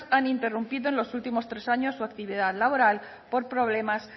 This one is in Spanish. han interrumpido en los últimos tres años su actividad laboral por problemas